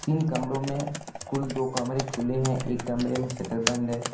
इन कमरो में कुल दो कमरे खुले हैं एक कमरे में शटर बंद है।